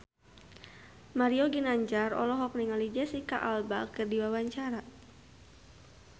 Mario Ginanjar olohok ningali Jesicca Alba keur diwawancara